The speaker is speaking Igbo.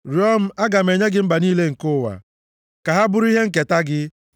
Rịọọ m, aga m enye gị mba niile nke ụwa ka ha bụrụ ihe nketa gị.